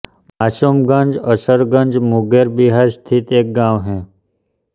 मासुमगंज असरगंज मुंगेर बिहार स्थित एक गाँव है